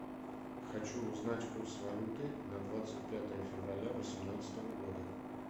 хочу узнать курс валюты на двадцать пятое февраля восемнадцатого года